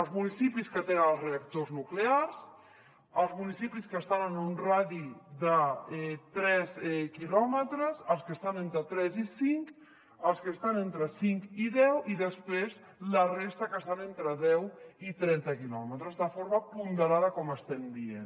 els municipis que tenen els reactors nuclears els municipis que estan en un radi de tres quilòmetres els que estan entre tres i cinc els que estan entre cinc i deu i després la resta que estan entre deu i trenta quilòmetres de forma ponderada com estem dient